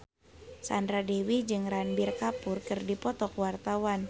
Sandra Dewi jeung Ranbir Kapoor keur dipoto ku wartawan